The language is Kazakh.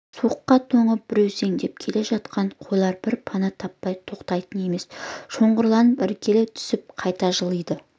суыққа тоңып бүрсеңдеп келе жатқан қойлар бір пана таппай тоқтайтын емес шоғырланып іркіле түсіп қайта жылиды